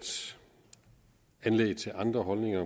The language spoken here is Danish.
anlæg til andre holdninger